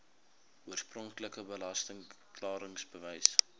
oorspronklike belasting klaringsbewys